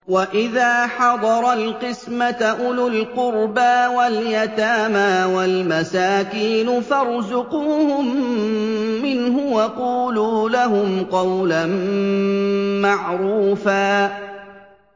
وَإِذَا حَضَرَ الْقِسْمَةَ أُولُو الْقُرْبَىٰ وَالْيَتَامَىٰ وَالْمَسَاكِينُ فَارْزُقُوهُم مِّنْهُ وَقُولُوا لَهُمْ قَوْلًا مَّعْرُوفًا